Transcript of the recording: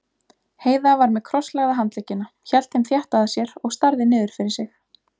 Heiða var með krosslagða handleggina, hélt þeim þétt að sér og starði niður fyrir sig.